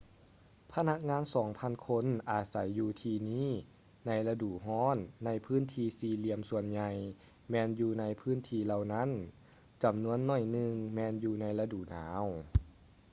ພະນັກງານສອງພັນຄົນອາໄສຢູ່ທີ່ນີ້ໃນລະດູຮ້ອນໃນພື້ນທີ່ສີ່ຫຼຽມສ່ວນໃຫຍ່ແມ່ນຢູ່ໃນພື້ນທີ່ເຫຼົ່ານັ້ນ ຈຳນວນໜ້ອຍໜຶ່ງແມ່ນຢູ່ໃນລະດູໜາວ